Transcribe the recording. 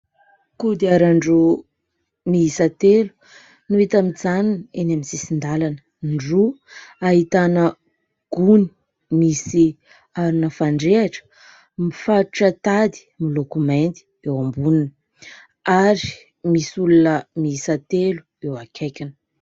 Kodiaran-droa miisa telo no hita mijanona eny amin'ny sisin-dalana. Ny roa ahitana gony misy arina fandrehatra, mifatotra tady miloko mainty eo amboniny ary misy olona miisa telo eo akaikiny.